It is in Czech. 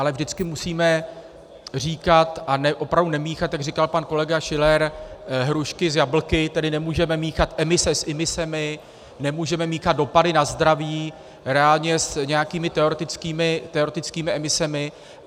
Ale vždycky musíme říkat a opravdu nemíchat, jak říkal pan kolega Schiller, hrušky s jablky, tedy nemůžeme míchat emise s imisemi, nemůžeme míchat dopady na zdraví reálně s nějakými teoretickými emisemi.